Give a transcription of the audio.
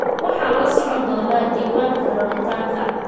Waxaan la socon doonaa diiwaanka raritaanka.